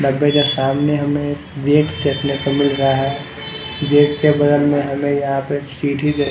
डब्बे के सामने हमें गेट देखने को मिल रहा है गेट के बगल में हमें यहाँ पे सीढ़ी दि----